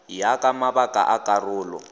ya ka mabaka a karolo